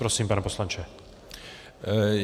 Prosím, pane poslanče.